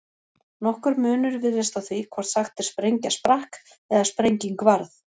Nokkur munur virðist á því hvort sagt er sprengja sprakk eða sprenging varð.